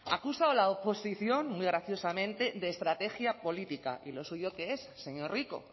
acusa a la oposición muy graciosamente de estrategia política y lo suyo qué es señor rico